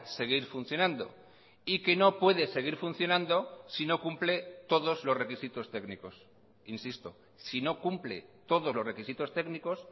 seguir funcionando y que no puede seguir funcionando si no cumple todos los requisitos técnicos insisto si no cumple todos los requisitos técnicos